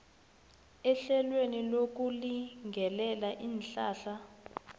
ehlelweni lokulingelela iinhlahla